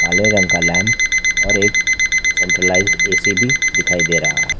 काले रंग का लैंप और एक सेंट्रलाइज्ड ए_सी भी दिखाई दे रहा है।